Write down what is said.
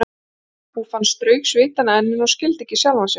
Úff, hann strauk svitann af enninu og skildi ekki sjálfan sig.